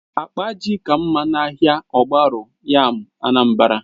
Akpa ji ka mma na ahịa ogbaru yam Anambra